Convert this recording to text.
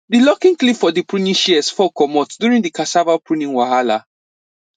di locking clip for the pruning shears fall comot during the cassava pruning wahala